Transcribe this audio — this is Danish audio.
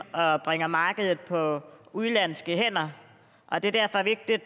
bringer markedet på udenlandske hænder det er derfor vigtigt